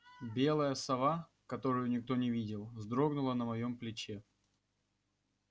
белая сова которую никто не видел вздрогнула на моём плече